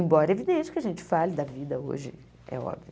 Embora é evidente que a gente fale da vida hoje, é óbvio.